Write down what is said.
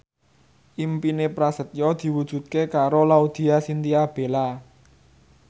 impine Prasetyo diwujudke karo Laudya Chintya Bella